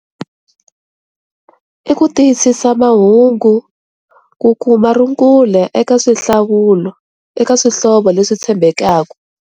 I ku tiyisisa mahungu ku kuma rungula eka swihlawulo eka swihlovo leswi tshembekaka.